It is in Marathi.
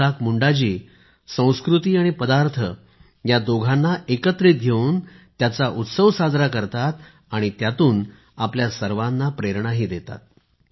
ईसाक मुंडा जी संस्कृती आणि पदार्थ या दोघांना एकत्रित घेऊन त्याचा उत्सव साजरा करतात आणि त्यातून आपल्या सर्वांना प्रेरणाही देतात